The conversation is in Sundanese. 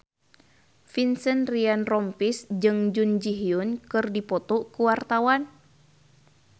Vincent Ryan Rompies jeung Jun Ji Hyun keur dipoto ku wartawan